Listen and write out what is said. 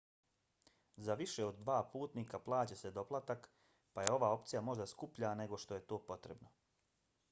za više od 2 putnika plaća se doplatak pa je ova opcija možda skuplja nego što je to potrebno